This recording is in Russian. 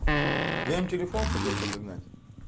я им телефон хотел подогнать